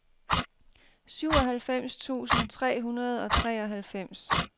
syvoghalvfems tusind tre hundrede og treoghalvfems